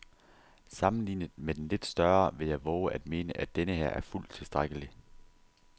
Sammenlignet med den lidt større vil jeg vove at mene, at denneher er fuldt tilstrækkelig.